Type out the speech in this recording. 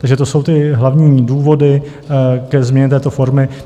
Takže to jsou ty hlavní důvody ke změně této formy.